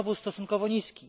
znowu stosunkowo niski.